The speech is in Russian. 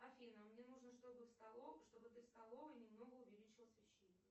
афина мне нужно что бы ты в столовой немного увеличила освещение